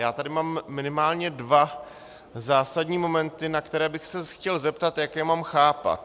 Já tady mám minimálně dva zásadní momenty, na které bych se chtěl zeptat, jak je mám chápat.